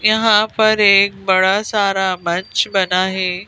यहां पर एक बड़ा सारा मंच बना है।